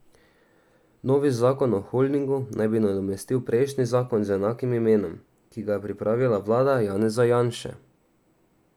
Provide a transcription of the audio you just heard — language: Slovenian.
Novi zakon o holdingu naj bi nadomestil prejšnji zakon z enakim imenom, ki ga je pripravila vlada Janeza Janše.